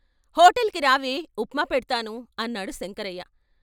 "హోటల్కి రావే ఉప్మా పెడ్తాను " అన్నాడు శంకరయ్య.